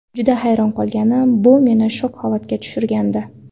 Juda hayron qolgandim, bu meni shok holatiga tushirgandi.